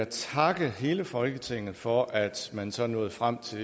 takke hele folketinget for at man så nåede frem til